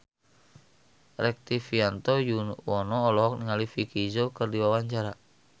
Rektivianto Yoewono olohok ningali Vicki Zao keur diwawancara